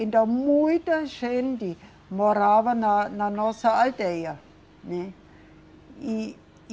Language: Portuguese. Então, muita gente morava na, na nossa aldeia. E, e